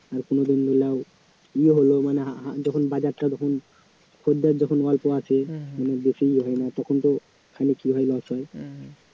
আর কোনোদিন ইয়ে হল মানে আ~ যখন বাজারটা যখন খদ্দের যখন অল্প আসে তখন তো খানিক ইয়ে হয় loss হয়